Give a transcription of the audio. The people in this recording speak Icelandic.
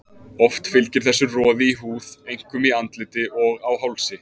Oft fylgir þessu roði í húð, einkum í andliti og á hálsi.